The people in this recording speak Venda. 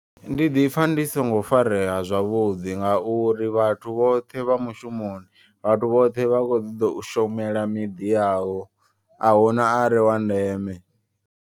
Ndi ḓipfa ndi songo farea zwavhuḓi ngauri vhathu vhoṱhe vha mushumoni. Vhathu vhoṱhe vha kho ṱoḓa u shumela miḓi yavho ahuna are wa ndeme.